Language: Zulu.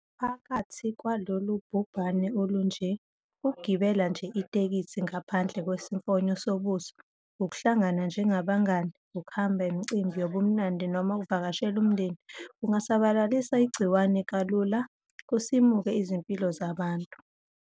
Phakathi kwalolu bhubhane olunje, ukugibela nje itekisi ngaphandle kwesimfonyo sobuso ukuhlangana njengabangani, ukuhamba imicimbi yobumnandi noma ukuvakashela umndeni, kungasabalalisa igciwane kalula kusimuke izimpilo zabantu.